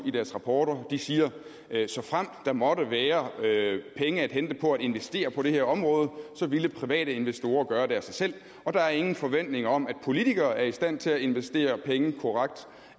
i deres rapporter de siger at såfremt der måtte være penge at hente på at investere på det her område ville private investorer gøre det af sig selv og der er ingen forventninger om at politikere er i stand til at investere penge korrekt